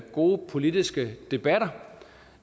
gode politiske debatter